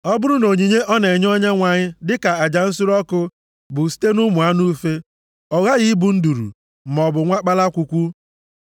“ ‘Ọ bụrụ na onyinye ọ na-enye Onyenwe anyị dịka aja nsure ọkụ bụ site nʼụmụ anụ ufe, ọ ghaghị ịbụ nduru, maọbụ nwa kpalakwukwu.